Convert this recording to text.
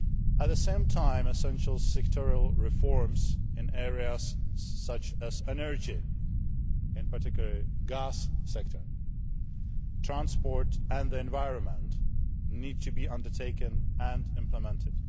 At the same time, essential sectoral reforms in areas such as energy in particular the gas sector transport and the environment need to be undertaken and implemented.